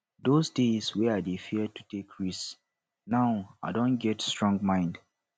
those days wey i dey fear to take risk now i don get strong mind